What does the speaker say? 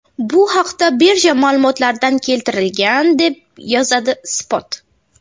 Bu haqda birja ma’lumotlarida keltirilgan, deb yozadi Spot.